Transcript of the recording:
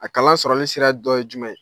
A kalan sɔrɔli sira dɔ ye jumɛn ye?